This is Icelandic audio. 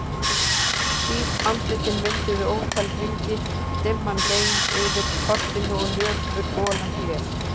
Hvít andlitin mynduðu ótal hringi, dimman gein yfir portinu og nöpur golan blés.